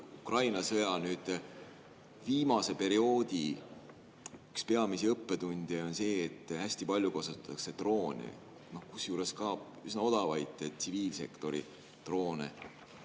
Ukraina sõja viimase perioodi üks peamisi õppetunde on see, et hästi palju kasutatakse droone, kusjuures ka üsna odavaid tsiviilsektori droone.